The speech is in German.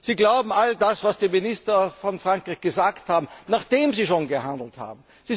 Sie glauben all das, was die Minister aus Frankreich erklärt haben, nachdem sie schon gehandelt haben.